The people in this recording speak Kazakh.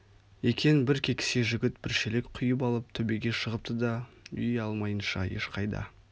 екен бір кекісе жігіт бір шелек құйып алып төбеге шығыпты да үй алмайынша ешқайда